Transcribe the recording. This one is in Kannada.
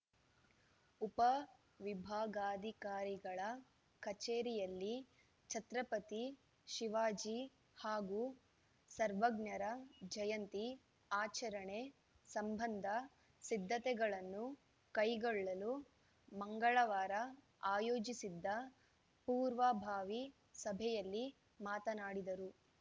ಉಪವಿಭಾಗಾಧಿಕಾರಿಗಳ ಕಚೇರಿಯಲ್ಲಿ ಛತ್ರಪತಿ ಶಿವಾಜಿ ಹಾಗೂ ಸರ್ವಜ್ಞರ ಜಯಂತಿ ಆಚರಣೆ ಸಂಬಂಧ ಸಿದ್ಧತೆಗಳನ್ನು ಕೈಗೊಳ್ಳಲು ಮಂಗಳವಾರ ಆಯೋಜಿಸಿದ್ದ ಪೂರ್ವಭಾವಿ ಸಭೆಯಲ್ಲಿ ಮಾತನಾಡಿದರು